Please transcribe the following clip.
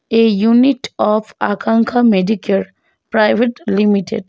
A unit of Akanksha Medicare private limited.